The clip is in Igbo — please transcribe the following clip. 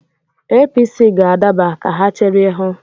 APC ga-adaba, ka ha chere hụ.